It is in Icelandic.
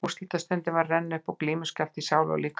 Úrslitastundin var að renna upp og glímuskjálfti í sál og líkama.